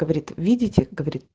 видите